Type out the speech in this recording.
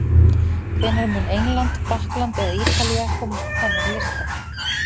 Hvenær mun England, Frakkland eða Ítalía komast á þennan lista?